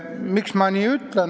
Miks ma nii ütlen?